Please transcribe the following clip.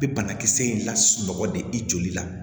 I bɛ banakisɛ in lasunɔgɔ de i joli la